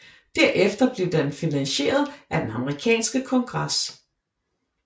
Derefter blev den finansieret af den amerikanske kongres